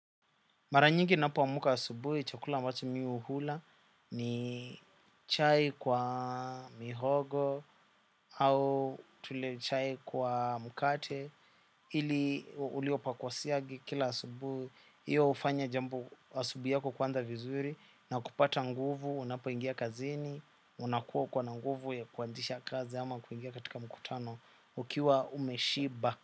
Mara nyingi napoamka asubuhi chakula ambacho mi hula ni chai kwa mihogo au tule chai kwa mkate ili uliwe pa kwa siagi kila asubuhi. Hiyo hufanya jambo asubuhi yako kuanza vizuri na kupata nguvu unapoingia kazini unakuwa uko na nguvu ya kuanzisha kazi ama kuingia katika mkutano ukiwa umeshiba.